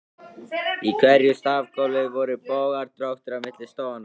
Í hverju stafgólfi voru bogar, dróttir, á milli stoðanna.